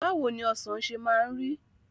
Bawoni Ọ̀sán ṣe máa ń rí?